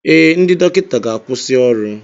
Ee, ndị dọkịta ga-akwụsị ọrụ.